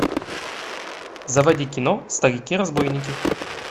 заводи кино старики разбойники